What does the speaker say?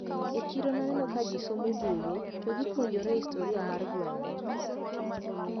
E chiro naneno kajisomo buge to gipuonjre historia mar gwengwa.